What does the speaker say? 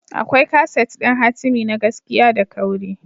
Akwai kaset ɗin hatimi na gaskiya da kauri.